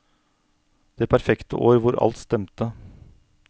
Det perfekte år hvor alt stemte.